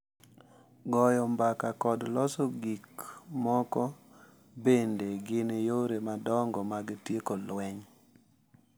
Goyo mbaka kod loso gik moko bende gin yore madongo mag tieko lweny.